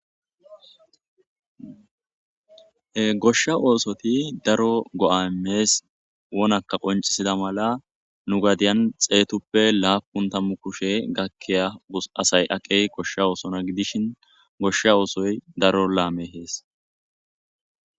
goshsha oosoti daro go7amees wonaka qoncisida mala nu gadiyan xeetuppe laapun tammu kushe gakkiya gus asay aqey koshsha oosona gidishin goshsha oosoy daro laame hees